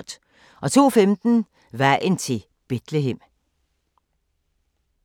02:15: Vejen til Bethlehem